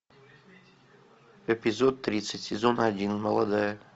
эпизод тридцать сезон один молодая